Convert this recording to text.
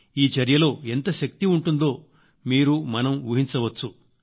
ఈ చర్యలో ఎంత శక్తి ఉంటుందో మీరు మనం ఊహించవచ్చు